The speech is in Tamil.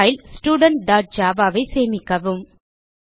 பைல் Studentjavaஐ சேமிக்கவும்